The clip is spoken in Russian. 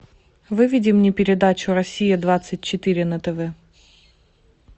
выведи мне передачу россия двадцать четыре на тв